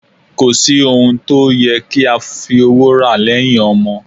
Kò sí ohun tó yẹ kí a fi owó rà lẹ́yìn ọmọ